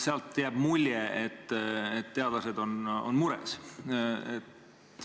Sealt jääb mulje, et teadlased on mures.